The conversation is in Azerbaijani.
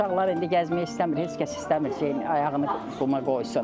Amma uşaqlar indi gəzmək istəmir, heç kəs istəmir şey ayağını quma qoysun.